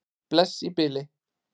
Bless í bili.